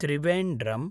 Trivandrum